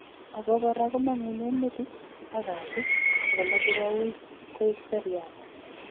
Obo kora komong'unen metit ak katit ago moche koui koik seriat.